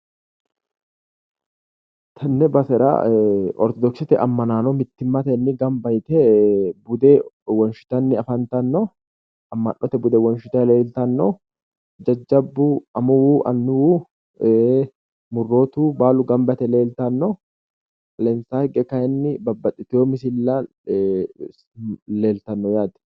Tenne basera ortodokisete ammanaano mittimmatenni gamba yite bude wonshitanni afantanno amma'note bude wonshitanni leeltanno jajjabbu amuwu annuwu murrootu baalu gamba yite leeltanno. Mulensaa higge kayinni babbaxxitewo misilla leeltanno yaate.